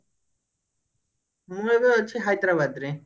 ମୁଁ ଏବେ ଅଛି ହାଇଦ୍ରାବାଦ ରେ